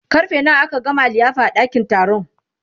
karfe nawa aka gama liyafa a ɗakin taron